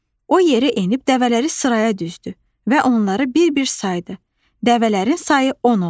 O yerə enib dəvələri sıraya düzdü və onları bir-bir saydı, dəvələrin sayı 10 oldu.